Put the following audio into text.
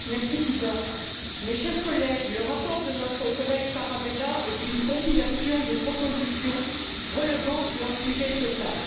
Monsieur le Président, mes chers collègues, le rapport de notre collègue Tarabella est une compilation de propositions relevant du hors sujet total.